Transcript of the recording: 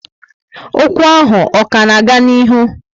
Ókwú ahụ ọ ka n'aga n'ihu?